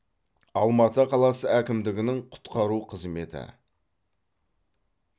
алматы қаласы әкімдігінің құтқару қызметі